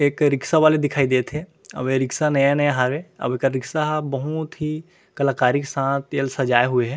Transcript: एक रिक्सा वाले दिखाई देत हे अउ ए रिक्सा नया-नया हावे अउ एकर रिक्सा बहूत ही कलाकारी के साथ एल सजाये हुए हे।